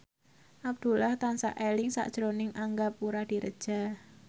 Abdullah tansah eling sakjroning Angga Puradiredja